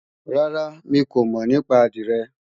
Rárá, mi kò mọ̀ nípa àdìrẹ